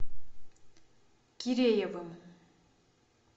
киреевым